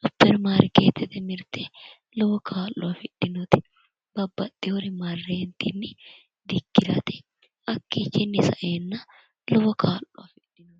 supperimaarkeettete mirte lowo kaa'lo afidhinote. Babbaxxiwo marre ka'ne dikkirate hakkiichinni saeenna lowo kaa'lo afidhino.